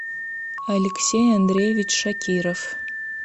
алексей андреевич шакиров